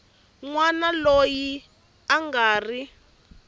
wana loyi a nga ri